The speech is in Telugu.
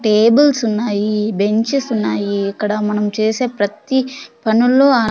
టేబుల్స్ ఉన్నాయీ బెంచెస్ ఉన్నాయీ ఇక్కడ మనం చేసే ప్రత్తి పనుల్లో ఆ --